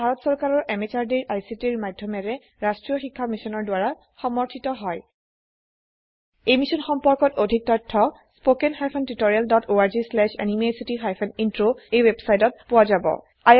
ই ভাৰত চৰকাৰৰ MHRDৰ ICTৰ মাধয়মেৰে ৰাস্ত্ৰীয় শিক্ষা মিছনৰ দ্ৱাৰা সমৰ্থিত হয় এই মিশ্যন সম্পৰ্কত অধিক তথ্য spoken hyphen tutorial dot org slash এনএমইআইচিত হাইফেন ইন্ট্ৰ ৱেবচাইটত পোৱা যাব